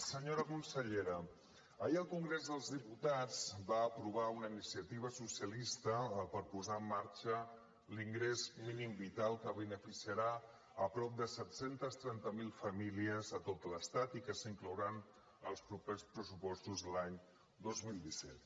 senyora consellera ahir el congrés dels diputats va aprovar una iniciativa socialista per posar en marxa l’ingrés mínim vital que beneficiarà prop de set cents i trenta miler famílies a tot l’estat i que s’inclourà en els propers pressupostos l’any dos mil disset